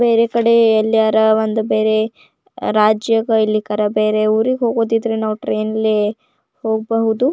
ಬೇರೆ ಕಡೆ ಅಲ್ಲಿ ಯಾರ ಒಂದು ಬೇರೆ ರಾಜ್ಯ ಇಲ್ಲಿ ಕರ ಬೇರೆ ಊರಿಗ್ ಹೋಗುದಿದ್ರೆ ನಾವ್ ಟ್ರೈನ್ ನಲ್ಲಿ ಹೋಗಬೋದು.